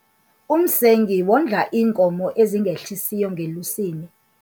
Umsengi wondla iinkomo ezingehlisiyo ngelusini.